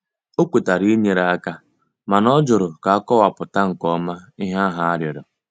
O kwetara inyere aka mana ọ jụrụ ka akọwapụta nke ọma ihe ahụ arịọrọ.